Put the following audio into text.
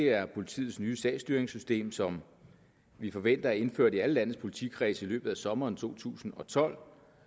er politiets nye sagsstyringssystem som vi forventer er indført i alle landets politikredse i løbet af sommeren to tusind og tolv